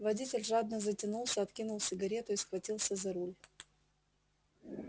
водитель жадно затянулся откинул сигарету и схватился за руль